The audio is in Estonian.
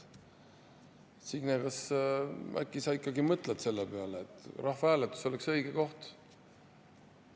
Signe, äkki sa ikkagi mõtled selle peale, et rahvahääletus oleks õige koht?